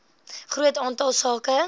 groot aantal sake